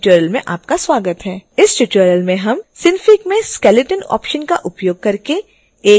इस ट्यूटोरियल में हम synfig में skeleton ऑप्शन का उपयोग करके एक कैरेक्टर को एनीमेट करना सीखेंगे